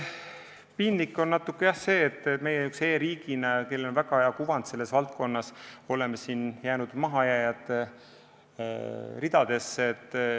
Piinlik on natukene, jah, see, et meie e-riigina, kellel on väga hea kuvand selles valdkonnas, oleme jäänud mahajääjate ridadesse.